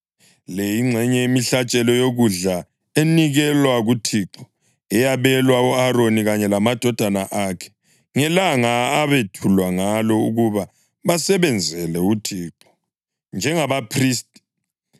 Le yingxenye yemihlatshelo yokudla enikelwa kuThixo eyabelwa u-Aroni kanye lamadodana akhe ngelanga abethulwa ngalo ukuba basebenzele uThixo njengabaphristi.